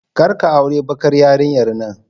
Kar ka auri bakar yarinyar nan.